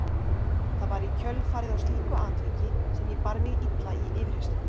Það var í kjölfarið á slíku atviki sem ég bar mig illa í yfirheyrslu.